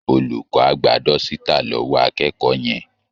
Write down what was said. Olùkọ́ á gba dọ́sítà lọ́wọ́ akẹ́kọ̀ọ́ yẹn